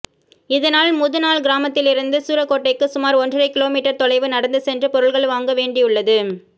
இதனால் முதுனாள் கிராமத்திலிருந்து சூரங்கோட்டைக்கு சுமாா் ஒன்றரை கிலோ மீட்டா் தொலைவு நடந்து சென்று பொருள்கள் வாங்க வேண்டியுள்ளது